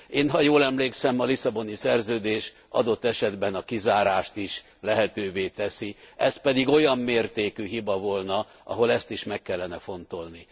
Én, ha jól emlékszem, a Lisszaboni Szerződés adott esetben a kizárást is lehetővé teszi, ez pedig olyan mértékű hiba volna, ahol ezt is meg kellene fontolni.